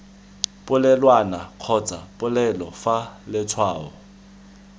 polelwana kgotsa polelo fa letshwao